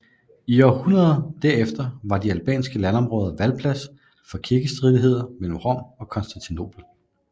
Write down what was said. I århundrederne der efter var de albanske landområder valplads for kirkestridigheder mellem Rom og Konstantinopel